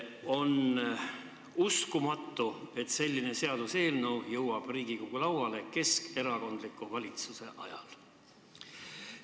On uskumatu, et selline seaduseelnõu jõuab Riigikogu lauale keskerakondliku valitsuse ajal.